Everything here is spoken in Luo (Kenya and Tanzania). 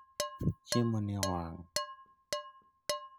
Chiemo ni owang'